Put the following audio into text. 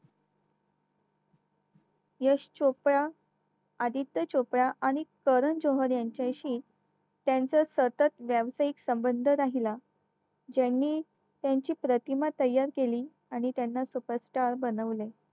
यश चोप्रा, आदित्य चोप्रा आणि कारण जोहर यांच्याशी त्यांचा सतत व्यावसायिक संबंध राहिला ज्यांनी त्यांची प्रतिमा तयार केली आहे त्यांना superstar बनवलं